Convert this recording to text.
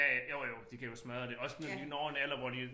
Ja ja jo jo de kan jo smadre det også når de når en alder hvor de